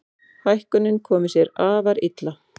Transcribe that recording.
Hækkunin komi sér afar illa.